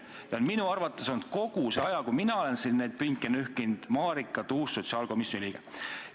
Tähendab, minu arvates on kogu selle aja, kui mina olen siin neid pinke nühkinud, Marika Tuus-Laul olnud sotsiaalkomisjoni liige.